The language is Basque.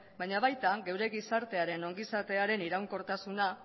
baina baita gure gizartearen ongizatearen iraunkortasuna